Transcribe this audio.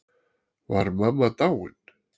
Var mamma dáin?